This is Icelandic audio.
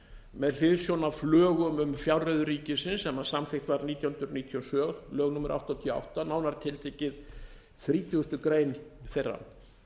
með hliðsjón af lögum um fjárreiður ríkisins sem samþykkt voru nítján hundruð níutíu og sjö lög númer áttatíu og átta nánar tiltekið þrítugustu greinar þeirra